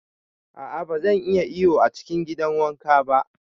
A'a ban iya iyo a cikin gidan wanka ba.